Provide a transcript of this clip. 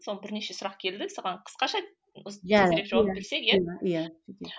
соны бірнеше сұрақ келді соған қысқаша жауап берсек иә иә